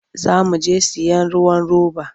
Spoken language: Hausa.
Za mu je sayen ruwan roba.